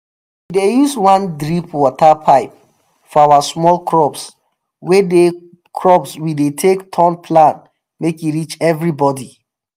we dey use one drip water pipe for our small crops we dey crops we dey take turn plant make e reach everybody.